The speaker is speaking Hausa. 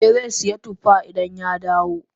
Eh Zai sayi tuffa idan ya dawo.